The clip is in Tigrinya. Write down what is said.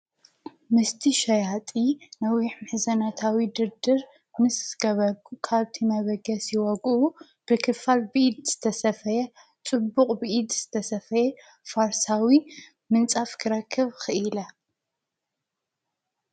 ምስቲ ሸያጢ ነዊሕ ምሕዘናታዊ ድርድር ምስ ገበርኩ ካብቲ መበገሲ ዋግኡ ብኽፋል ብኢድ ዝተሰፈየ ፅቡቕ ብኢድ ዝተሰፈየ ፋርሳዊ ምንፃፍ ክረክብ ኺኢለ፡፡